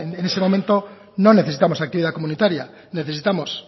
en ese momento no necesitamos actividad comunitaria necesitamos